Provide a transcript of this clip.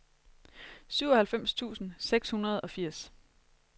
syvoghalvfems tusind seks hundrede og firs